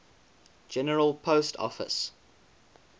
general post office